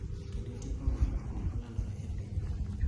kendo tieko ng’anyo ma ne olandore e pinyno